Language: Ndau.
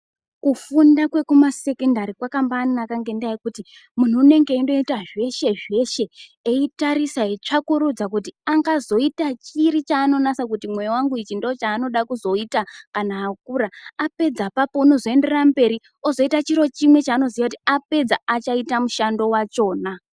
Kufunda kwekuma sekendari kwakambai naka ngenda yekuti munhu unenge eyi ngoita zveshe zveshe iyi tarisa eyi tsvakurudza kuti angazoita chiri chaano nasa kuti mwoyo wangu ichi ndo chaaonoda kuzoita kana akura apedza apapo anozo enderera mberi ozoita chiro chimwe chanooziya kuti kana apedza achaita musando wachona.